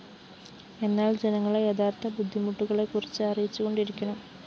എന്നാല്‍ ജനങ്ങളെ യഥാര്‍ത്ഥ ബുദ്ധിമുട്ടുകളെക്കുറച്ച്‌ അറിയിച്ചുകൊണ്ടിരിക്കണം